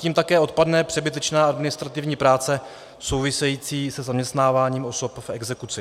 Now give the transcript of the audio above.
Tím také odpadne přebytečná administrativní práce související se zaměstnáváním osob v exekuci.